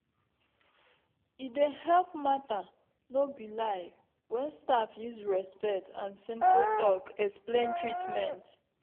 e dey help matter nor be lie when staff use respect and simple talk explain treatment.